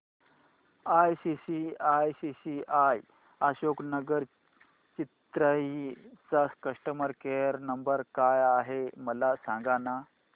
ICICI Ashok Nagar Chennai चा customer care number काय आहे मला सांगाना